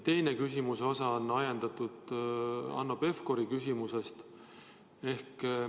Teine osa küsimusest on ajendatud Hanno Pevkuri küsimusest.